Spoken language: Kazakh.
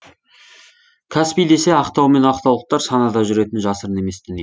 каспий десе ақтау мен ақтаулықтар санада жүретіні жасырын емес дүние